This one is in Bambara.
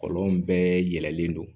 Kɔlɔn bɛɛ yɛlɛlen don